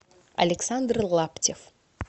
александр лаптев